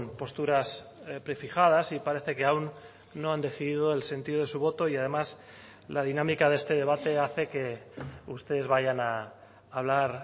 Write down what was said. posturas prefijadas y parece que aún no han decidido el sentido de su voto y además la dinámica de este debate hace que ustedes vayan a hablar